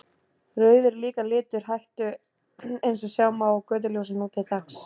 Rauður er líka litur hættu eins og sjá má á götuljósum nú til dags.